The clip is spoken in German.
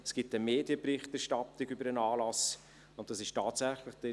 Es gibt eine Medienberichterstattung über den Anlass, und es ist tatsächlich eine Chance;